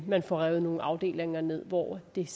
man får revet nogle afdelinger ned hvor det